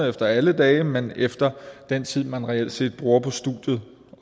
efter alle dage men efter den tid man reelt set bruger på studiet